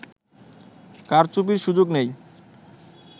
কারচুপির সুযোগ নেই